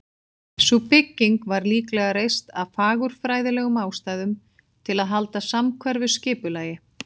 Sú bygging var líklega reist af fagurfræðilegum ástæðum, til að halda samhverfu skipulagi.